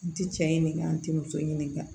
N ti cɛ ɲininka n tɛ muso ɲiniŋa